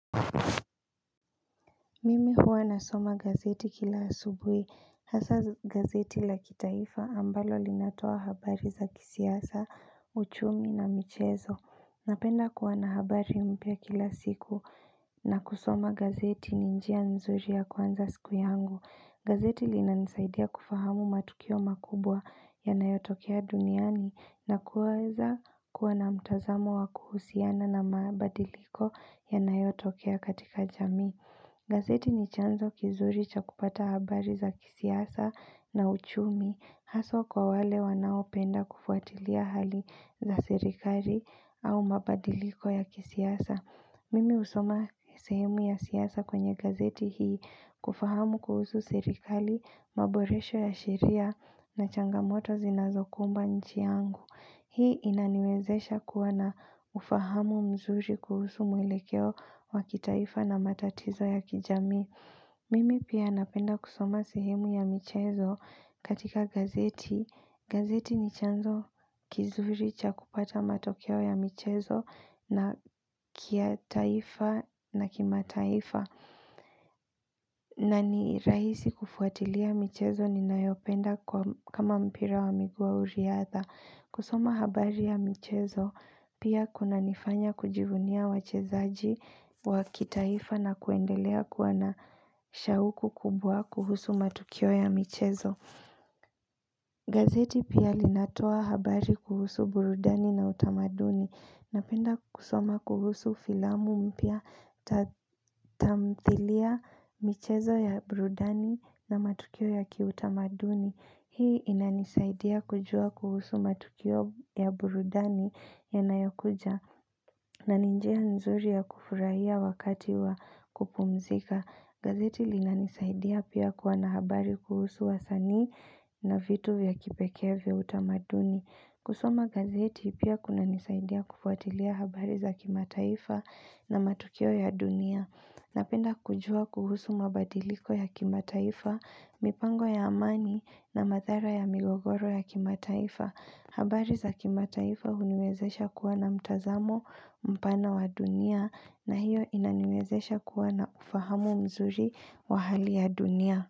Mimi huwa nasoma gazeti kila asubui, hasa gazeti la kitaifa ambalo linatoa habari za kisiasa, uchumi na michezo. Napenda kuwa na habari mpya kila siku na kusoma gazeti ninjia nzuri ya kuanza siku yangu. Gazeti linansaidia kufahamu matukio makubwa ya nayotokea duniani na kuweza kuwa na mtazamo wa kuhusiana na mabadiliko yana yotokea katika jami. Gazeti ni chanzo kizuri chakupata habari za kisiasa na uchumi haswa kwa wale wanaopenda kufuatilia hali za serikali au mabadiliko ya kisiasa. Mimi usoma sehemu ya siasa kwenye gazeti hii kufahamu kuhusu serikari, maboresho ya shiria na changamoto zinazokumba nchi yangu. Hii inaniwezesha kuwana ufahamu mzuri kuhusu mwelekeo wa kitaifa na matatizo ya kijami. Mimi pia napenda kusoma sehemu ya michezo katika gazeti. Gazeti ni chanzo kizuri cha kupata matokeo ya michezo na kia taifa na kima taifa. Na nirahisi kufuatilia michezo ni nayopenda kama mpira wa miguu au riatha. Kusoma habari ya michezo pia kuna nifanya kujivunia wachezaji wa kitaifa na kuendelea kuwa na shauku kubwa kuhusu matukio ya michezo. Gazeti pia linatoa habari kuhusu burudani na utamaduni. Napenda kusoma kuhusu filamu mpya tatamthilia michezo ya burudani na matukio ya kiutamaduni. Hii inanisaidia kujua kuhusu matukio ya burudani ya nayokuja na ninjia nzuri ya kufurahia wakati wa kupumzika. Gazeti linanisaidia pia kuwa na habari kuhusu wa sani na vitu vya kipekee vya utamaduni. Kusoma gazeti pia kuna nisaidia kufuatilia habari za kimataifa na matukio ya dunia. Napenda kujua kuhusu mabadiliko ya kimataifa, mipango ya amani na mathara ya migogoro ya kimataifa. Habari za kimataifa huniwezesha kuwa na mtazamo mpana wa dunia na hiyo inaniwezesha kuwa na ufahamu mzuri wa hali ya dunia.